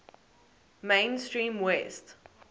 main stream west